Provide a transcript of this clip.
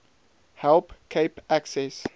help cape access